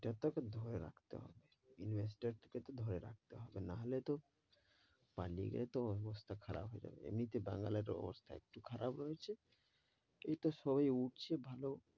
ধরে রাখতে হবে, investor টা কে তো ধরে রাখতে হবে নাহলে তো পালিয়ে গেলে তো অবস্থা খারাপ হয়ে যাবে, এমনি তে বাঙাল এর অবস্থা একটু খারাপ রয়েছে, এইতো সবে উঠছে ভালো,